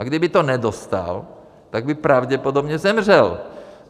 A kdyby to nedostal, tak by pravděpodobně zemřel.